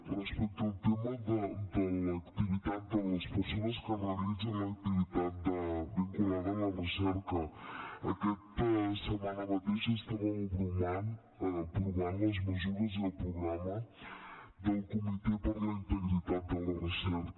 respecte al tema de l’activitat de les persones que realitzen l’activitat vinculada a la recerca aquesta setmana mateix estàvem aprovant les mesures i el programa del comitè per a la integritat de la recerca